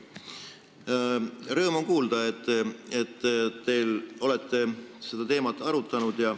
Rõõm on kuulda, et te olete seda teemat arutanud.